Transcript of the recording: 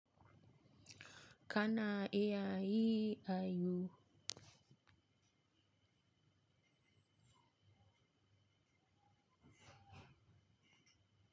Kana iya yi ayu?